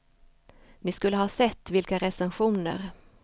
Ni skulle ha sett vilka recensioner.